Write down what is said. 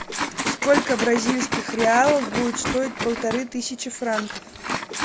сколько бразильских реалов будет стоить полторы тысячи франков